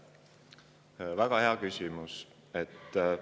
väga hea küsimus!